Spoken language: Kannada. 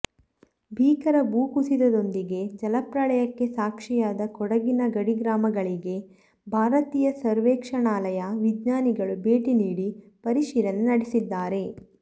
ಭೀಕರ ಭೂ ಕುಸಿತದೊಂದಿಗೆ ಜಲಪ್ರಳಯಕ್ಕೆ ಸಾಕ್ಷಿಯಾದ ಕೊಡಗಿನ ಗಡಿಗ್ರಾಮಗಳಿಗೆ ಭಾರತೀಯ ಸರ್ವೇಕ್ಷಣಾಲಯ ವಿಜ್ಞಾನಿಗಳು ಭೇಟಿ ನೀಡಿ ಪರಿಶೀಲನೆ ನಡೆಸಿದ್ದಾರೆ